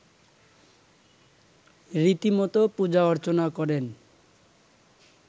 রীতিমতো পূজা-অর্চনা করেন